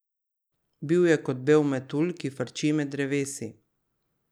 Bil je kot bel metulj, ki frči med drevesi.